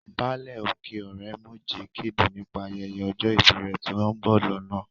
Báálẹ̀ òkè ọ̀rẹ́mọ̀jẹ̀ kéde nípa ayẹyẹ ọjọ́ ìbí rẹ̀ tí ó ń bọ̀ lọ́nà